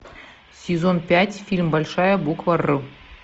сезон пять фильм большая буква р